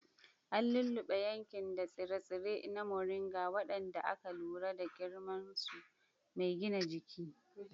An lulluɓe yankin da tsire-tsire na Moringa, waɗanda aka lura da ƙimar su mai gina jiki.